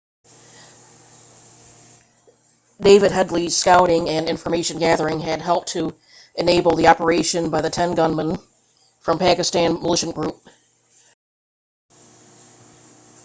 david headley's scouting and information gathering had helped to enable the operation by the 10 gunmen from the pakistani militant group laskhar-e-taiba